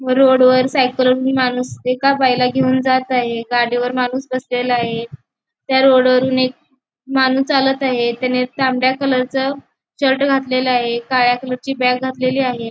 रोडवर सायकल वरून माणूस एका बाईला घेऊन जात आहे. गाडीवर माणूस बसलेला आहे त्या रोड वरून एक माणूस चालत आहे त्याने तांबडा कलरच शर्ट घातलेला आहे काळ्या कलरची पॅन्ट घातली आहे.